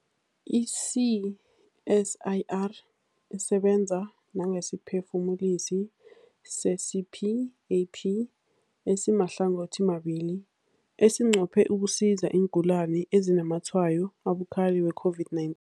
I-CSIR isebenza nangesiphefumulisi se-CPAP esimahlangothimabili esinqophe ukusiza iingulani ezinazamatshwayo abukhali we-COVID-19.